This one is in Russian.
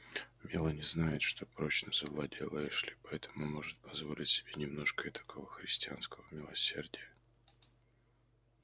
мелани знает что прочно завладела эшли и поэтому может позволить себе немножко этакого христианского милосердия